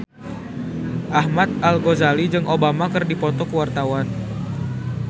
Ahmad Al-Ghazali jeung Obama keur dipoto ku wartawan